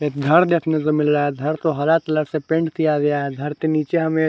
एक घर देखने को मिल रहा है घर को हरा कलर से पेंट किया गया है घर के नीचे हमे--